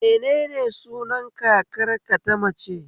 Menene sunan kakar ka ta mace?